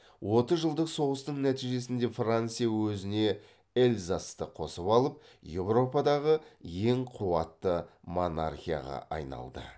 отыз жылдық соғыстың нәтижесінде франция өзіне эльзасты қосып алып еуропадағы ең қуатты монархияға айналды